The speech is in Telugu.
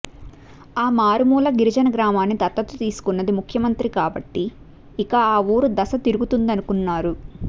ఆ మారు మూల గిరిజన గ్రామాన్ని దత్తత తీసుకున్నది ముఖ్యమంత్రి కాబట్టి ఇక ఆవూరు దశ తిరుగుతుందనుకున్నారు